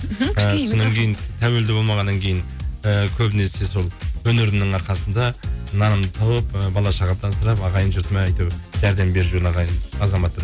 мхм ы соннан кейін тәуелді болмағаннан кейін і көбінесе сол өнерімнің арқасында нанымды тауып і бала шағамды асырап ағайын жұртыма әйтеуір жәрдем беріп жүрген ағайын азаматпын